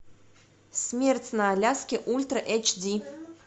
смерть на аляске ультра эйч ди